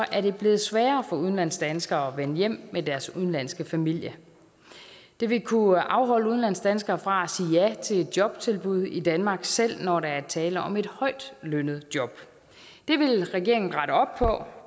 er det blevet sværere for udlandsdanskere at vende hjem med deres udenlandske familie det vil kunne afholde udlandsdanskere fra at til et jobtilbud i danmark selv når der er tale om et højtlønnet job det vil regeringen rette op på